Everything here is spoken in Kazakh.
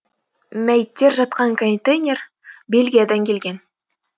мәйіттер жатқан контейнер бельгиядан келген